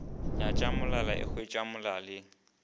nyatša molala e hwetše molaleng